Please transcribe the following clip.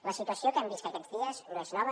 la situació que hem vist aquests dies no és nova